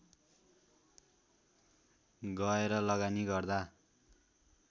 गएर लगानी गर्दा